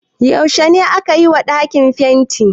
yaushe aka yi wa dakin fenti?